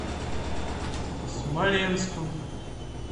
смоленском